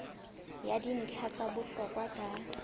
ya dintlha tsa bohlokwa ka